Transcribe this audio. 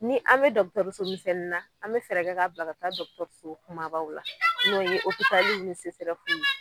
Ni an be dɔgɔtɔrɔso misɛni na an be fɛrɛ k'a bila ka taa dɔgɔtɔrɔso kumabaw la n'o ye opitaliw ni sesɛrɛfuw ye